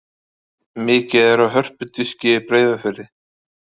Mikið er af hörpudiski í Breiðafirði.